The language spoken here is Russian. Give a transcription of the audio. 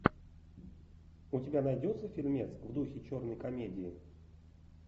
у тебя найдется фильмец в духе черной комедии